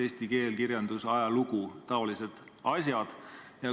Eesti keel, kirjandus, ajalugu – taolised asjad.